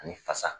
Ani fasa